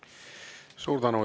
Suur tänu!